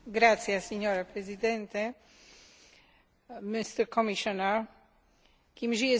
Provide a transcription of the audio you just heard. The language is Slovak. Kým žije snaha bojovať proti chudobe vo svete, dovtedy máme istotu, že existuje ľudskosť.